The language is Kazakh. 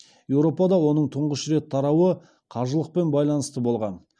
еуропада оның тұңғыш рет тарауы қажылықпен байланысты болған